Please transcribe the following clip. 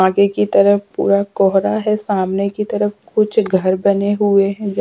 आगे की तरफ पूरा कोहरा है सामने की तरफ कुछ घर बने हुए हैं।